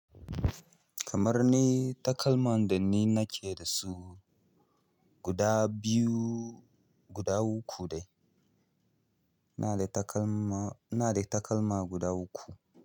Kamar ni takalman da ni nake da su guda biyu, guda uku dai. Ina da takalma, ina da takalma guda uku.